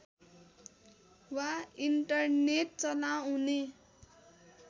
वा इन्टरनेट चलाउने